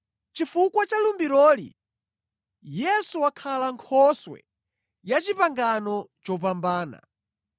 Chifukwa cha lumbiroli, Yesu wakhala Nkhoswe ya Pangano lopambana.